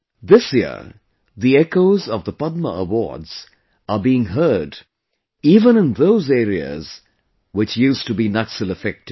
This year the echoes of the Padma Awards are being heard even in those areas which used to be Naxal affected